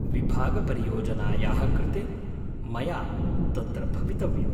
विभागपरियोजनायाः कृते मया तत्र भवितव्यम्।